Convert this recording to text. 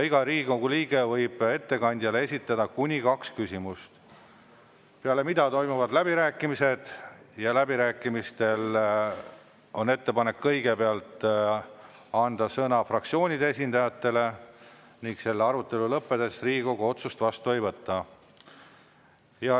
Iga Riigikogu liige võib ettekandjale esitada kuni kaks küsimust, peale mida toimuvad läbirääkimised, ja läbirääkimistel on ettepanek kõigepealt anda sõna fraktsioonide esindajatele ning selle arutelu lõppedes Riigikogu otsust vastu ei võta.